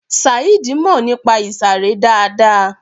Saheed mọ̀ nípa ìsàré dáadáa.